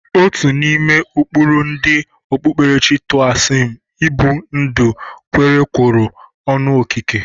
Otu n'ime ụkpụrụ ndị okpukperechi Toaism ibi ndụ kwerekọrọ ọnụ n'okike.